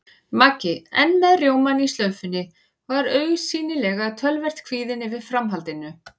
Maggi, enn með rjómann í slaufunni, var augsýnilega töluvert kvíðinn yfir framhaldinu.